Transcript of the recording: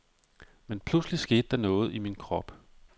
Men pludselig skete der noget i min krop.